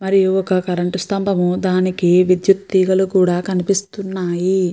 మరియు ఒక కరెంట్ స్తంభము దానికి విద్యుత్ తీగలు కూడా కనిపిస్తున్నాయి.